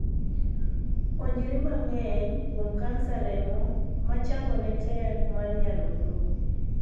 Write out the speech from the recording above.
Puonjri mang'eny kuom kansa remo machangone tek mar nyarung'rung'.